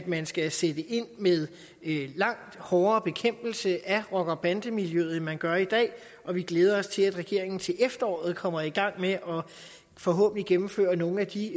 man skal sætte ind med langt hårdere bekæmpelse af rocker og bandemiljøet end man gør i dag og vi glæder os til at regeringen til efteråret kommer i gang med forhåbentlig at gennemføre nogle af de